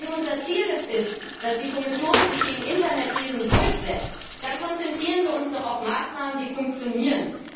Wenn es unser Ziel ist, dass sich die Kommission gegen Internetriesen durchsetzt, dann konzentrieren wir uns doch auf Maßnahmen, die funktionieren!